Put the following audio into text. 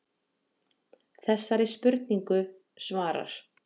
Þessari spurningu svarar